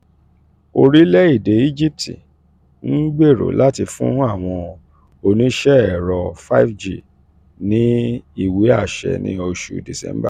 orílẹ̀-èdè egypt ń gbèrò láti fún àwọn oníṣẹ́ ẹ̀rọ five g ní ìwé àṣẹ ní oṣù december